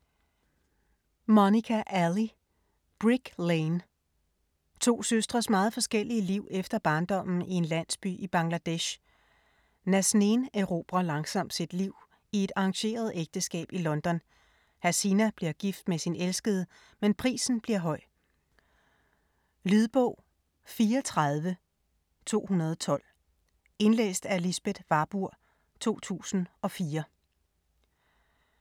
Ali, Monica: Brick Lane To søstres meget forskellige liv efter barndommen i en landsby i Bangladesh. Nazneen erobrer langsomt sit liv i et arrangeret ægteskab i London, Hasina bliver gift med sin elskede, men prisen bliver høj. Lydbog 34212 Indlæst af Lisbeth Warburg, 2004. Spilletid: 16 timer, 43 minutter.